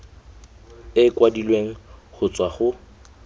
e kwadilweng go tswa go